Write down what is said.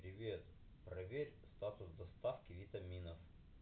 привет проверь статус доставки витаминов